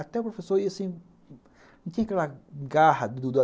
Até o professor ia assim... não tinha aquela garra